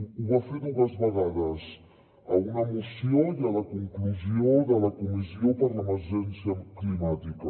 ho va fer dues vegades a una mo ció i a la conclusió de la comissió per l’emergència climàtica